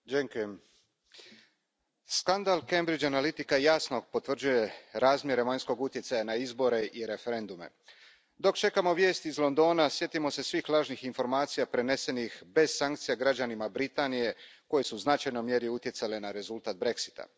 Gospodine predsjedavajući, skandal Cambridge Analitica jasno potvrđuje razmjere vanjskog utjecaja na izbore i referendume. Dok čekamo vijesti iz Londona, sjetimo se svih lažnih informacija prenesenih bez sankcija građanima Britanije koje su u značajnoj mjeri utjecale na rezultat Brexita.